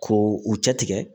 Ko u cɛ tigɛ